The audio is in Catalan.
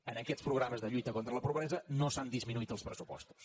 en aquests programes de lluita contra la pobresa no s’han disminuït els pressupostos